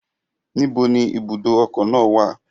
Níbo ni ibùdó ọkọ̀ náà wà?